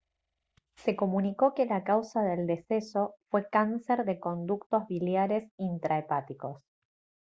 se comunicó que la causa del deceso fue cáncer de conductos biliares intrahepáticos